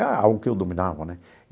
É algo que eu dominava, né?